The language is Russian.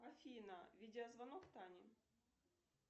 афина видеозвонок тане